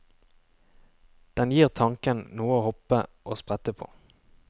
Den gir tanken noe å hoppe og sprette på.